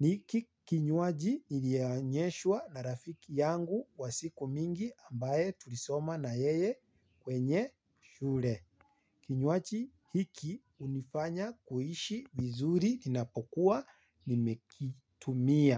Ni kinywaji nilionyeshwa na rafiki yangu wa siku mingi ambaye tulisoma na yeye kwenye shule. Kinywaji hiki hunifanya kuishi vizuri ninapokuwa nimekitumia.